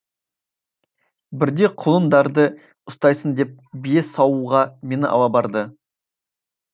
бірде құлындарды ұстайсың деп бие саууға мені ала барды